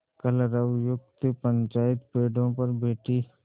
कलरवयुक्त पंचायत पेड़ों पर बैठी